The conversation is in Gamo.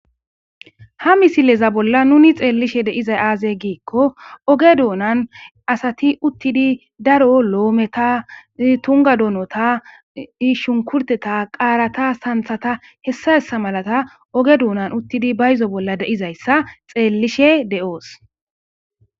ha misileza bolla nuni xeellishe deizay aaze giikko oge duunan asati uttidi daro loometa tunga donota ishunkurteta qaarata santhata hessa hessa malata oge duunan uttidi bayzo bolla deizayssa xeellishe de7oos